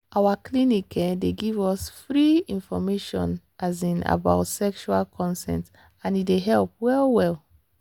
our clinic um dey give us give us free information um about sexual consent and e dey help well well.